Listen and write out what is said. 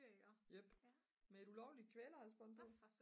ja med et ulovligt kvælerhalsbånd på